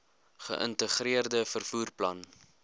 geïntegreerde vervoer plan